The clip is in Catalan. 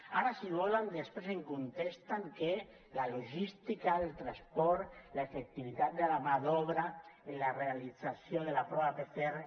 ara si volen després em contesten que la logística del transport l’efectivitat de la mà d’obra en la realització de la prova pcr